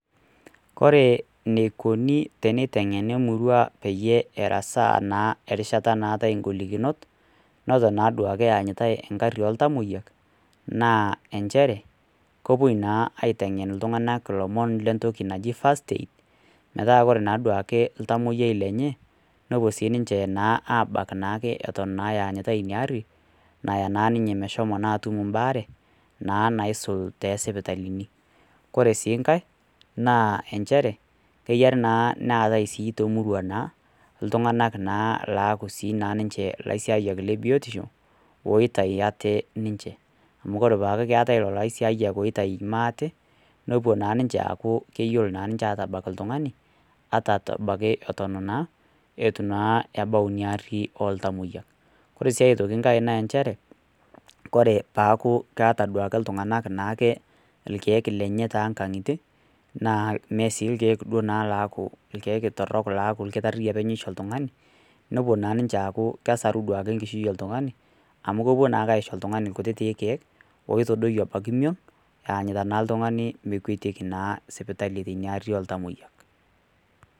Ore eneiko pee eiteng'eni emurua peyie erasaa naa erishata naatai ingolikinot, neton naa duake eyanyitai eng'ari ooltamwoiya, naa ncher, kepuoi naa aiteng'en iltung'ana naa entoki naji first aid, metaa ore naa duo ake oltamwoiyia lenye, nepuo nnake sii ninche abak naake ewuen naa eyanyitai ina aari, naya naa ninye meshomo naa atum embaare, naa naisul naa toosipitalini. Kore sii enkai, naa nchere, keyiare naa neatai naa temurua naa ilyung'anak naake laaku ninche ilaisiayiak le biotisho, oitayu aate ninche, amu ore pee eatai lelo aisiayak oitayu maate, nepuo naa ninche aaku keyiolo naa ninche atabak oltung'ani, ata abaiki eton naa ebau inaari oltamwoiyak. Kore sii aitoki enkai naa nchere, kore peaku naake eata iltung'anak naake ilkeek lenyetoo nkang'itie, naa sii ilkeek naa sii duo meaku ilkeek torok, laaku olkitari openy loisho oltung'anni, nepuo naake ninche aaku kesaru enkishui oltung'ani, amu kepuoi naake aisho oltung'ani ilkutitik keek, oitadoiyo ebnaiki emion, eanyitai naa oltung'ani mekwetieki sipitali teuna ari oltamwoyia.